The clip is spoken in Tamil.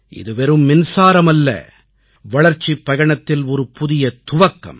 இது வெறும் மின்சாரமல்ல வளர்ச்சிப் பயணத்தில் ஒரு புதிய துவக்கம்